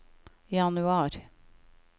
januar